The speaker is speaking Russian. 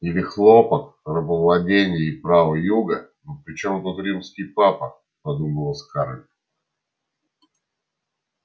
или хлопок рабовладение и права юга ну при чём тут римский папа подумала скарлетт